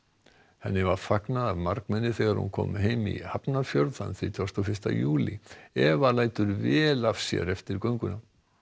henni var fagnað af margmenni þegar hún kom heim í Hafnarfjörð þann þrítugasta og fyrsta júlí Eva lætur vel af sér eftir gönguna